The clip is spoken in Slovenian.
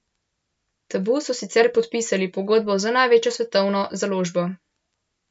Tabu so sicer podpisali pogodbo z največjo svetovno založbo.